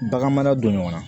Bagan mara don ɲɔgɔn na